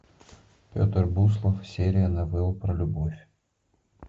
петр буслов серия новелл про любовь